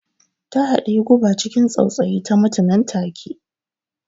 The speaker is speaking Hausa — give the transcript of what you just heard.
Ta haɗiyi guba ciki tsautsayi, ta mutu nan take.